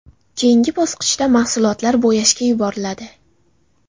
Keyingi bosqichda mahsulotlar bo‘yashga yuboriladi.